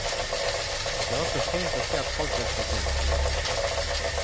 Det er også fint å se at folk hjelper til.